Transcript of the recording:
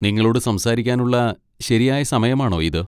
നിങ്ങളോട് സംസാരിക്കാനുള്ള ശരിയായ സമയമാണോ ഇത്?